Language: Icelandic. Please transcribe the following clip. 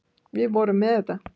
Við vorum með þetta.